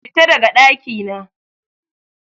Fita daga ɗakina!